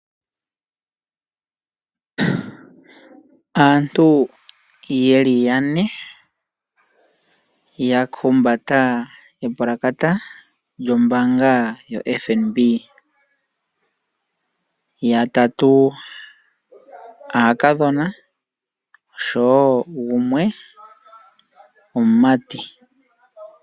Aantu ye li yane, ya humbata epulakata lyombaanga yoFNB, yatatu aakadhona, oshowo gumwe omumati.